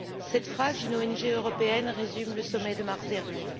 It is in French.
Cette phrase d'une ONG européenne résume le sommet de mars dernier.